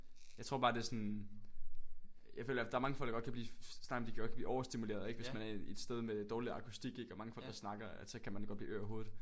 Jeg tror bare det er sådan. Jeg føler i hvert fald der er mange folk der godt kan blive snakker om de kan blive overstimuleret ikke hvis man er et sted med dårlig akustik ikke og mange folk der snakker at så kan man godt blive ør i hovedet